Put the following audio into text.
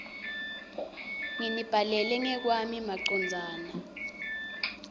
nginibhalela ngekwami macondzana